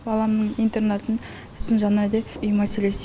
баламның интернатын сосын жаңағыдай үй мәселесі